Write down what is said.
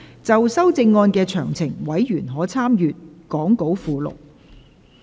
就修正案詳情，委員可參閱講稿附錄。